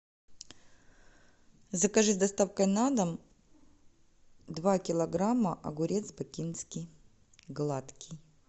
закажи с доставкой на дом два килограмма огурец бакинский гладкий